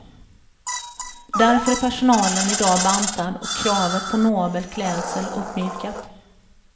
Därför är personalen idag bantad och kravet på nobel klädsel uppmjukat.